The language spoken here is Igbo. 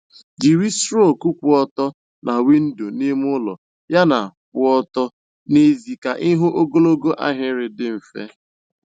Jiri strok kwụ ọtọ na windo n'ime ụlọ yana kwụ ọtọ n'èzí ka ịhụ ogologo ahịrị dị mfe.